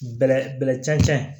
Bɛlɛ bɛlɛ cɛncɛn